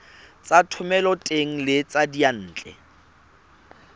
tsa thomeloteng le tsa diyantle